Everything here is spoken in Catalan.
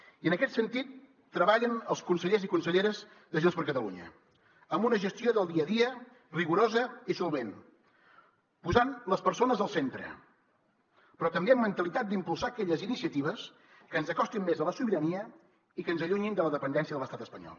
i en aquest sentit treballen els consellers i conselleres de junts per catalunya amb una gestió del dia a dia rigorosa i solvent posant les persones al centre però també amb mentalitat d’impulsar aquelles iniciatives que ens acostin més a la sobirania i que ens allunyin de la dependència de l’estat espanyol